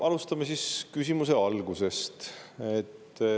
Alustame siis küsimuse algusest.